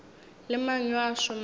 le mang yo a šomago